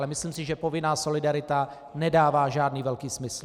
Ale myslím si, že povinná solidarita nedává žádný velký smysl.